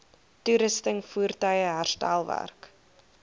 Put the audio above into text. toerusting voertuie herstelwerk